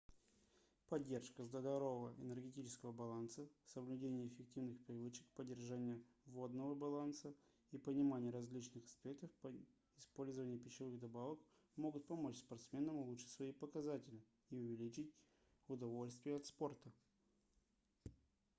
поддержка здорового энергетического баланса соблюдение эффективных привычек поддержания водного баланса и понимание различных аспектов использования пищевых добавок могут помочь спортсменам улучшить свои показатели и увеличить удовольствие от спорта